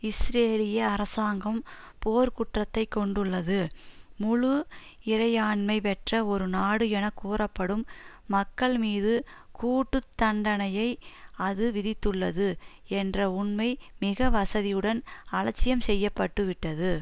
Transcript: இஸ்ரேலிய அரசாங்கம் போர்க்குற்றத்தை கொண்டுள்ளது முழு இறையாண்மை பெற்ற ஒரு நாடு என கூறப்படும் மக்கள் மீது கூட்டு தண்டனையை அது விதித்துள்ளது என்ற உண்மை மிக வசதியுடன் அலட்சியம் செய்ய பட்டு விட்டது